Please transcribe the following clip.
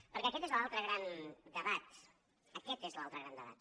perquè aquest és l’altre gran debat aquest és l’altre gran debat